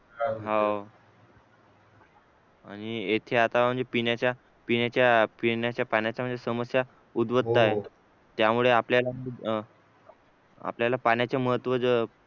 हाव आणि आता येथे आता म्हणजे पिण्याच्या पिण्याच्या पिण्याच्या पाण्याच्या म्हणजे समस्या उद्भवत आहेत त्यामुळे आपल्याला आपल्याला पाण्याचे महत्व